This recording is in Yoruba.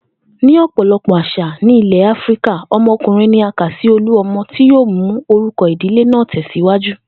Ní ò̩pò̩lo̩pò̩ às̩à ní ilè̩ Áfíríkà, o̩mo̩kùnrin ni a ka sí olú o̩mo̩ tí yóò mú orúko̩ ìdílé náà tè̩síwájú